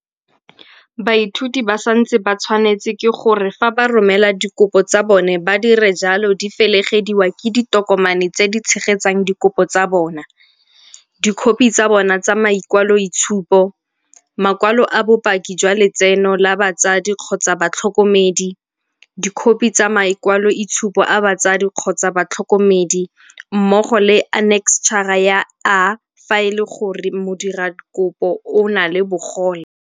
Baithuti ba santse ba tshwanetswe ke gore fa ba romela dikopo tsa bona ba dire jalo di felegediwa ke ditokomane tse di tshegetsang dikopo tsa bona, Dikhophi tsa bona tsa makwaloitshupo, makwalo a bopaki jwa letseno la batsadi-batlhokomedi, dikhophi tsa makwaloitshupo a batsadi-batlhokomedi mmogo le Anekstšhara ya A fa e le gore modirakopo o na le bogole.